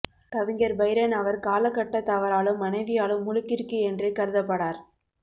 கவிஞர் பைரன் அவர் காலகட்டத்தவராலும் மனைவியாலும் முழுக்கிறுக்கு என்றே கருதப்படார்